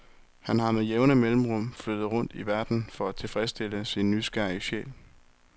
Han har med jævne mellemrum flyttet rundt i verden for at tilfredsstille sin nysgerrige sjæl.